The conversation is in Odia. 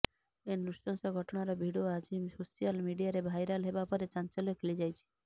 ଏ ନୃଶଂସ ଘଟଣାର ଭିଡିଓ ଆଜି ସୋସିଆଲ ମିଡିଆରେ ଭାଇରାଲ ହେବା ପରେ ଚାଞ୍ଚଲ୍ୟ ଖେଳିଯାଇଛି